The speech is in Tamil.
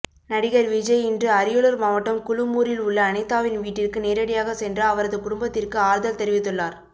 நடிகர் விஜய் இன்று அரியலூர் மாவட்டம் குழுமூரில் உள்ள அனிதாவின் வீட்டிற்கு நேரடியாக சென்று அவரது குடும்பத்திற்கு ஆறுதல் தெரிவித்துள்ளார்